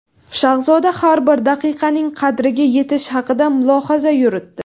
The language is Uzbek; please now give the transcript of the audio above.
Shahzoda har bir daqiqaning qadriga yetish haqida mulohaza yuritdi.